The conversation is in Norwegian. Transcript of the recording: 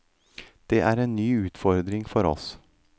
Det er en ny utfordring for oss.